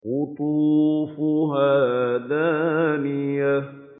قُطُوفُهَا دَانِيَةٌ